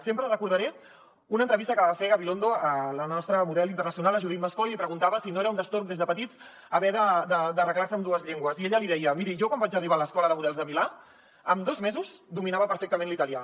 sempre recordaré una entrevista que va fer gabilondo a la nostra model internacional judith mascó i li preguntava si no era un destorb des de petits haver d’arreglar se amb dues llengües i ella li deia miri jo quan vaig arribar a l’escola de models de milà amb dos mesos dominava perfectament l’italià